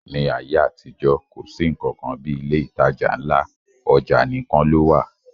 Ní ayé àtijọ́, kò sí nnkan kan bí ilé ìtajà ńlá, ọjà nìkan ló wà